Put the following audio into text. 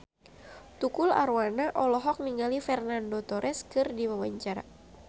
Tukul Arwana olohok ningali Fernando Torres keur diwawancara